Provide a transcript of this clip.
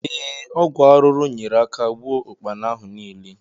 Ee, ọgwụ arụrụ nyeere aka gbuo ụkpana ahụ niile